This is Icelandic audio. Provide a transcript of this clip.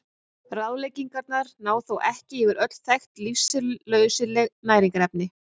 Ráðleggingarnar ná þó ekki yfir öll þekkt lífsnauðsynleg næringarefni.